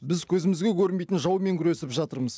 біз көзімізге көрінбейтін жаумен күресіп жатырмыз